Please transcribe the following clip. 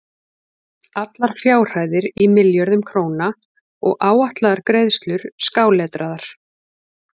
Allar fjárhæðir í milljörðum króna og áætlaðar greiðslur skáletraðar.